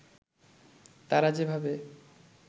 তারা যেভাবে